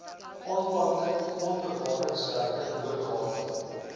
aanplanting grondbewaringswerke boorgate